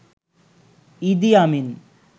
ইদি আমিন